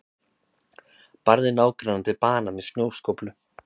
Barði nágrannann til bana með snjóskóflu